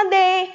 അതെ